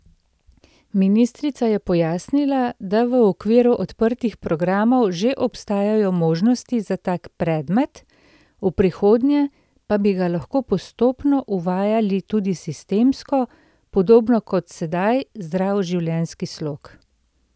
Ministrica je pojasnila, da v okviru odprtih programov že obstajajo možnosti za tak predmet, v prihodnje pa bi ga lahko postopno uvajali tudi sistemsko, podobno kot sedaj zdrav življenjski slog.